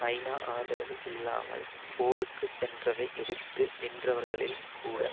ஐநா ஆதரவு இல்லாமல் போருக்கு சென்றதை எதிர்த்து நின்றவர்களில் கூட